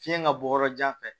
Fiɲɛ ka bɔ yɔrɔ jan fɛ